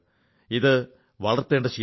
ഇത് വളർത്തേണ്ട ശീലമാണ്